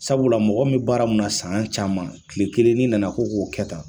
Sabula mɔgɔ mun bɛ baara mun na san caman tile kelen n’i nana ko k'o kɛta